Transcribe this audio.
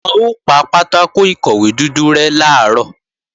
Wọn ó pa pátákò ìkọ̀wé dúdú rẹ́ làárọ̀